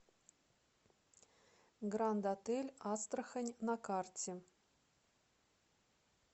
гранд отель астрахань на карте